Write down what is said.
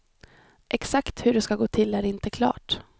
Exakt hur det ska gå till är inte klart.